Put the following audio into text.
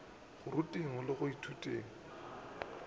go ruteng le go ithuteng